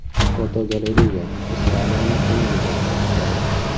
Fotogalereya: Ispaniyaning eng go‘zal shaharlari.